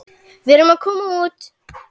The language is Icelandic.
Við erum að koma út.